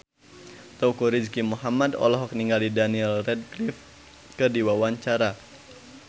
Teuku Rizky Muhammad olohok ningali Daniel Radcliffe keur diwawancara